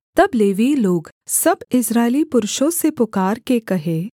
तब लेवीय लोग सब इस्राएली पुरुषों से पुकारके कहें